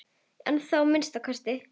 Ennþá að minnsta kosti.